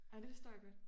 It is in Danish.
Ej det forstår jeg godt